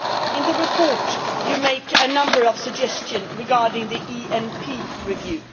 In the report you make a number of suggestions regarding the ENP review.